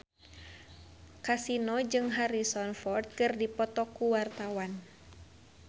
Kasino jeung Harrison Ford keur dipoto ku wartawan